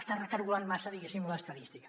estàs recargolant massa diguéssim l’estadística